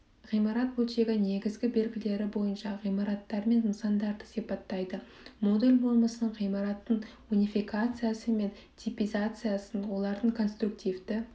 ғимарат бөлшегі негізгі белгілері бойынша ғимараттармен нысандарды сипаттайды модуль болмысын ғимараттың унификациясы мен типизациясын олардың конструктивті